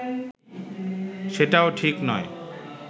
সেটাও ঠিক নয়